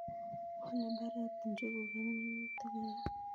Wale mbaret njuguk ak minutik alak